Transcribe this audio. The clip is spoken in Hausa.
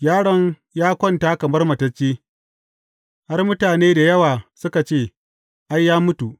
Yaron ya kwanta kamar matacce, har mutane da yawa suka ce, Ai, ya mutu.